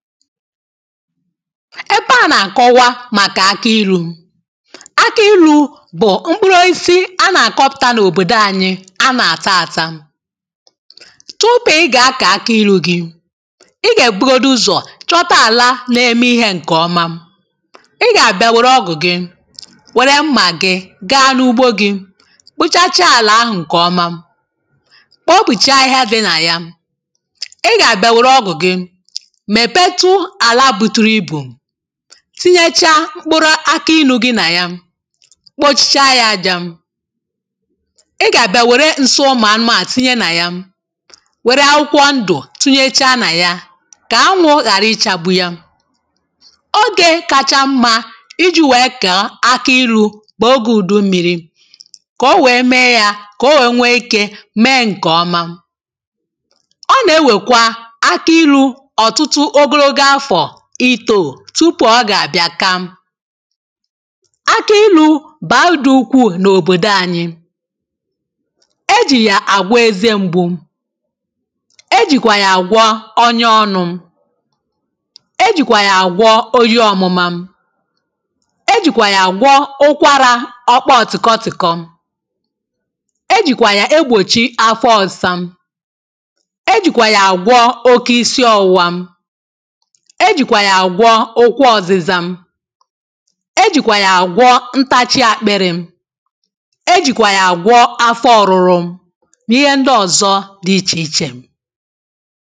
ebe à na-akọwa màkà akọ iru̇ akọ iru̇ bụ̀ mkpụrụ isi a nà-àkọpụta n’òbòdò anyị a nà-àta àta tupu ị gà-akọ̀ akọ iru̇ gị̇ ị gà-èbugodu ụzọ̀ chọta àla na-eme ihe ǹkèọma ị gà-àbịa wère ọgụ̀ gị wère mmà gị gaa n’ugbo gị̇ kpuchachaa àlà ahụ̀ ǹkèọma kpopùchaa ihe a dịnà ya tinyecha mkpụrụ aka inu̇ gị nà ya kpochicha ya ajȧ ị gà-àbịa wère nsi ụmụ̀ anụmanụ̀ tinye nà ya wère akwụkwọ ndụ̀ tunyechaa nà ya kà anwụ̇ ghàra ichȧgbu ya ogė kacha mmȧ iji̇ wèe kà aka iru̇ kpọ̀ọ ogė ùdummiri kò o wèe mee yȧ kà o wèe nwee ike mee ǹkè ọma itò tupu ọ gà àbịa ka aki ịlụ̇ bàrudu ukwuù n’òbòdò anyị̇ e jì yà àgwa eze mgbu̇ e jìkwà yà àgwọ onye ọnụ̇ e jìkwà yà àgwọ oyi ọmụma e jìkwà yà àgwọ ụkwarà ọkpa ọ̀tị̀kọtị̀kọ e jìkwà yà egbòchi afọ ọ̀sa e jìkwà yà àgwọ oke isi ọ̀wụwa e jị̀kwà yà àgwọ okwu ọ̀zịza e jị̀kwà yà àgwọ ntachi àkpịrị̇ e jị̀kwà yà àgwọ afọ ọ̀rụrụ nà ihe ndị ọ̀zọ dị ichè ichè